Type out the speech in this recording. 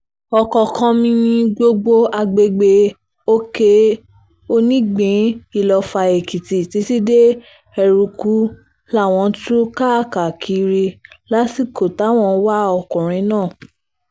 ọ̀kánkánmí ni gbogbo agbègbè òkè-onígbín iloffa èkìtì títí dé eruku làwọn tú káàkiri lásìkò táwọn ń wá ọkùnrin náà